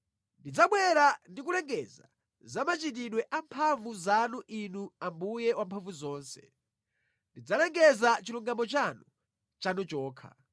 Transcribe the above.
Ndidzabwera ndi kulengeza za machitidwe amphamvu zanu Inu Ambuye Wamphamvuzonse. Ndidzalengeza chilungamo chanu, chanu chokha.